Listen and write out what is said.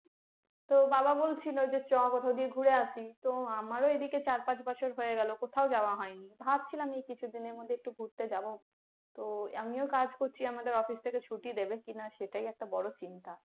তো বাবা বলছিলো যে চল কোথাও দিয়ে ঘুরে আসি, তো আমারও এদিকে চার পাঁচ বছর হয়ে গেলো, কোথাও যাওয়া হয় নাই। ভাবছিলাম এই কিছুদিনের মধ্যে একটু ঘুরতে যাবো, তো আমিও কাজ করছি আমাদের office থেকে ছুটি দেবে কিনা সেটাই একটা বড় চিন্তা